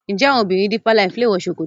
njé àwọn obìrin deeper life lẹ wò ṣòkòtò?